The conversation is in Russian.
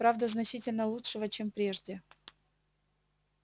правда значительно лучшего чем прежде